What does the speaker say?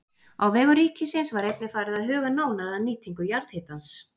Á vegum ríkisins var einnig farið að huga nánar að nýtingu jarðhitans.